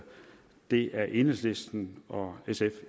det er enhedslisten og sf